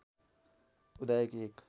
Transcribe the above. उदाएकी एक